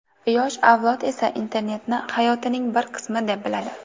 Yosh avlod esa internetni hayotining bir qismi deb biladi.